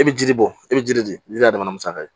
E bɛ jiri bɔ i bɛ jiri de jira a dama na musaka ye